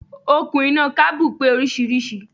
Okùn iná kábù pé oríṣiríṣi.